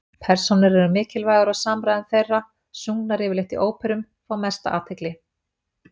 Persónur eru mikilvægar og samræður þeirra, sungnar yfirleitt í óperum, fá mesta athygli.